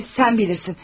Sən bilərsən.